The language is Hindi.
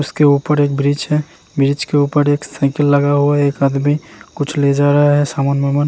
उसके उपर एक ब्रिज है ब्रिज के उपर एक साईकल लगा हुआ है एक आदमी कुछ ले जा रहा है सामान-बिमान।